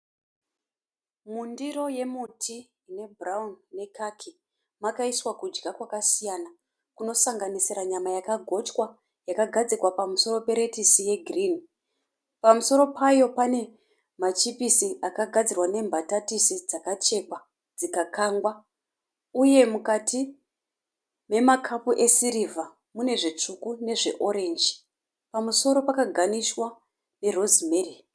Mundiro yemuti ine bhurauni ne khaki, Makaiswa kudya kwakasiyana, kuno sanganisira nyama yakagotya yakagadzikwa pamusoro pe lettuce ye girinhi. Pamusoro payo pane machipisi akagadzirwa nembatatisi dzakachekwa dzikakangwa uye mukati mema kapu esirivha mune zvitsvuku nezve orenji. Pamusoro paka ganishwa ne Rosimeri.